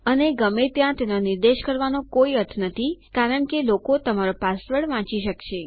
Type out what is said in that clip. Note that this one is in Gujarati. અને ગમે ત્યાં તેનો નિર્દેશ કરવાનો કોઈ અર્થ નથી કારણ કે લોકો તમારો પાસવર્ડ વાંચી શકશે